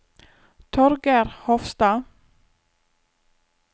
Torger Hofstad